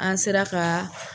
An sera ka